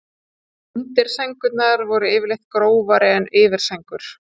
Undirsængurnar voru yfirleitt grófari en yfirsængur.